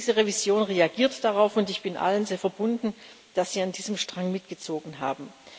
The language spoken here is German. Diese Revision reagiert darauf, und ich bin allen sehr verbunden, dass sie an diesem Strang mitgezogen haben.